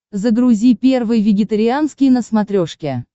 загрузи первый вегетарианский на смотрешке